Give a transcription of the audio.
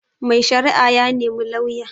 Mai shari'a ya nemi lauya